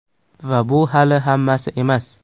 Va bu hali hammasi emas.